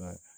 waya